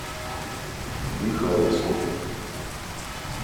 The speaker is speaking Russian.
михайловску